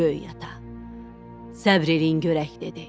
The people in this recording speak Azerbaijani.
Böyük ata, səbr eləyin görək dedi.